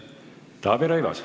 Taavi Rõivas.